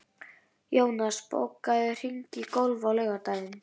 Jónas, bókaðu hring í golf á laugardaginn.